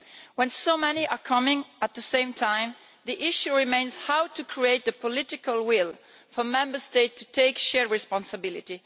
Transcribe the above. When so many are coming at the same time the issue remains how to create the political will for Member States to take shared responsibility.